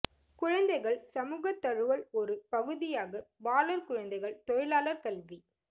குழந்தைகள் சமூக தழுவல் ஒரு பகுதியாக பாலர் குழந்தைகள் தொழிலாளர் கல்வி